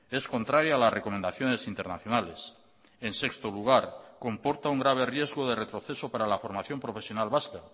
es contraria a las recomendaciones internacionales en sexto lugar comporta un grave riesgo de retroceso para la formación profesional vasca